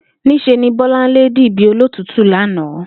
Ní s̩e ni Bó̩láńlé dì bí olótùútù lánàá